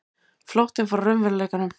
Flóttinn frá raunveruleikanum.